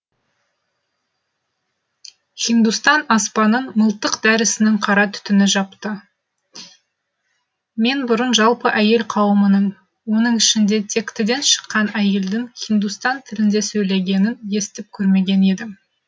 хиндустан аспанын мылтық дәрісінің қара түтіні жапты мен бұрын жалпы әйел қауымының оның ішінде тектіден шыққан әйелдің хиндустан тілінде сөйлегенін естіп көрмеген едім